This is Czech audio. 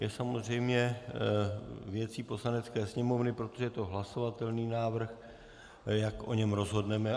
Je samozřejmě věcí Poslanecké sněmovny, protože je to hlasovatelný návrh, jak o něm rozhodneme.